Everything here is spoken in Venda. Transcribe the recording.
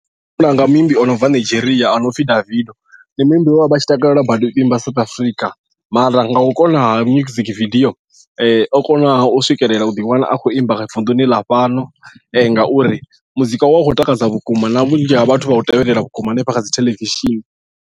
Muimbi o no bva Nigeria ano pfhi Davido ndi muimbi we avha tshi takalela badi u imba South Africa mara nga u konaha music video o konaha u swikelela u ḓi wana a khou imba vunḓuni ḽa fhano ngauri muzika wa u khou takadza vhukuma na vhunzhi ha vhathu vha u tevhelela vhukuma hanefha kha dzi theḽevishini.